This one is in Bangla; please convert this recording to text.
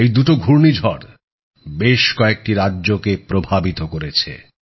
এই দুটো ঘূর্ণিঝড় বেশ কয়েকটি রাজ্যকে প্রভাবিত করেছে